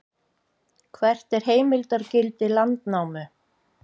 hvert er heimildargildi landnámu